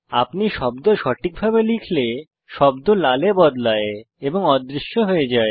আপনি শব্দ সঠিকভাবে লিখলে শব্দ লালে বদলায় এবং অদৃশ্য হয়ে যায়